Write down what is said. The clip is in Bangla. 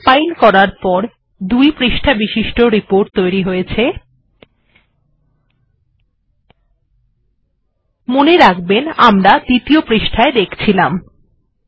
এখন রিপোর্ট টি দুই পৃষ্ঠাবিশিষ্ট হয়ে গেছে এবং মনে রাখবেন যে আমরা এখন দ্বিতীয় পৃষ্ঠা দেখছি